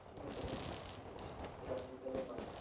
আচ্ছা বেশ, ঠিক আছে, রাখছি তাহলে bye,